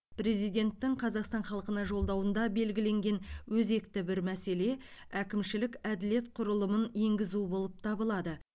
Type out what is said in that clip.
президенттің қазақстан халқына жолдауында белгіленген өзекті бір мәселе әкімшілік әділет құрылымын енгізу болып табылады